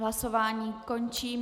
Hlasování končím.